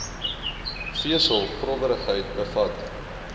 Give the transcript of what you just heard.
vesel growwerigheid bevat